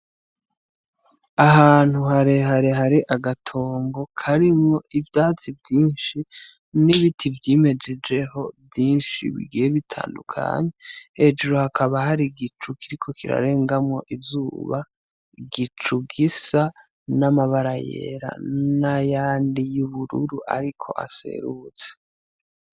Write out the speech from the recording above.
Ahantu harehare hari agatongo karimwo ivyatsi vyinshi n'ibiti vyimejejeho vyinshi bigiye bitandukanye, hejuru hakaba hari igicu kiriko kirarengamwo izuba, igicu gisa n'amabara yera n'ayandi y'ubururu ariko aserutse.